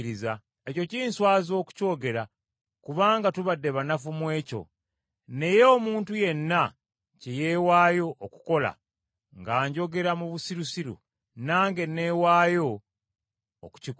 Ekyo kinswaza okukyogera kubanga tubadde banafu mu ekyo. Naye omuntu yenna kye yeewaayo okukola, nga njogera mu busirusiru, nange neewaayo okukikola.